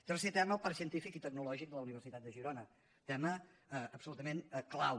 tercer tema el parc científic i tecnològic de la universitat de girona tema absolutament clau